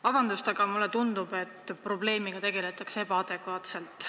Vabandust, aga mulle tundub, et probleemiga tegeletakse ebaadekvaatselt.